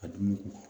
A dumuni ko